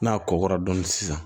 N'a kɔkɔra dɔɔni sisan